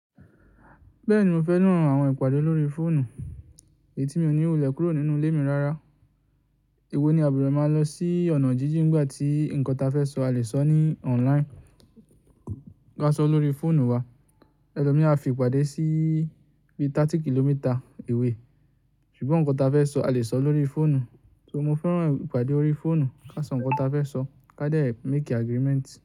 Bẹ́ẹ̀ni, mo fẹ́ran àwọn ìpàdé lórí fóònù. Èyí tí mi ò ní wulẹ́ kúrò nínú ilé mi rárá. Èwo ni a a buronọ máa lọ sí ọ̀nà jíjìn nígbà tí nǹkan ta fẹ́ sọ, a lè sọ ní online. Ká sọ lórí fóònù wa, ẹlomii a fi ìpàdé sí bí 30 km away. Ṣùgbọ́n nǹkan ta fẹ́ sọ, a lè sọ lórí fóònù. So, mo fẹ́ran ìpàdé orí fóònù ká sọ nǹkan ta fẹ́ sọ, ká dé make agreement.